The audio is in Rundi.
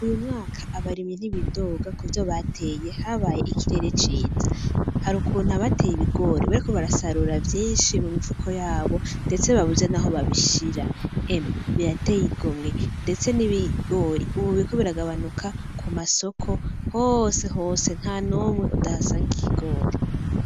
Uyu mwaka abarimyi ntibidoga kuvyo bateye habaye ikirere ciza harukuntu abateye ibigori bariko barasarura vyishi mu mifuko yabo ndetse ndetse babuze naho babishira, emwe birateye igomwe ndetse n'ibigori ubu biriko biragabanuka ku masoko hose hose ntahamwe utahasanga ikigori.